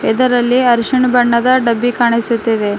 ಇದರಲ್ಲಿ ಅರಿಶಿಣ ಬಣ್ಣದ ಒಂದು ಡಬ್ಬಿ ಕಾಣಿಸುತ್ತಿದೆ.